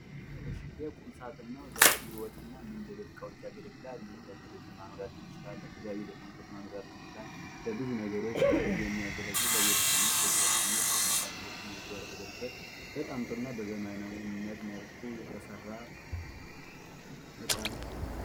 ይሄ ቁምሳጥን ነው። ለቢሮዎች እና እንዲሁም ለቤት ዕቃዎች ያገለግላል። እንዲሁም ለቴሌቪዥን ማኖሪያ ሊሆን ይችላል ፣ለተለያዩ ዶክመንቶች ማኖሪያ ሊሆን ይችላል፣ ለብዙ ነገሮች የሚያገለግል ለቤት እቃነት ለቢሮ ዕቃነት በስፋት ሰዎች የሚገለገሉበት ተጠንቶና በዘመናዊነት መልኩ የተሰራ እቃ ነው።